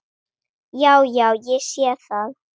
Já, já. ég sé það.